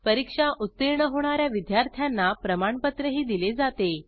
परीक्षा उत्तीर्ण होणा या विद्यार्थ्यांना प्रमाणपत्रही दिले जाते